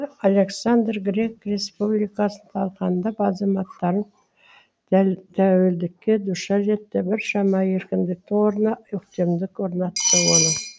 александр грек республикасын талқандап азаматтарын тәуелдікке душар етті біршама еркіндіктің орнына өктемдік орнатты